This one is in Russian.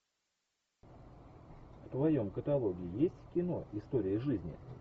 в твоем каталоге есть кино история жизни